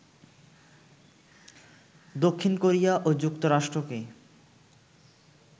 দক্ষিণ কোরিয়া ও যুক্তরাষ্ট্রকে